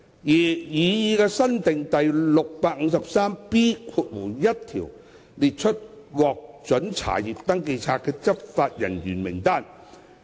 擬議新訂的第 653B1 條列出獲准查閱登記冊的執法人員名單。